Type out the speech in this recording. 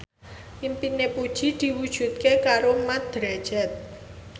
impine Puji diwujudke karo Mat Drajat